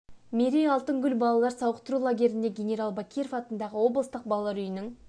мерей алтын гүл балалар сауықтыру лагерлеріне генерал бакиров атындағы облыстық балар үйінің